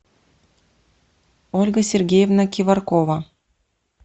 ольга сергеевна киваркова